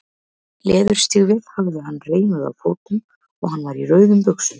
Leðurstígvél hafði hann reimuð á fótum og hann var í rauðum buxum.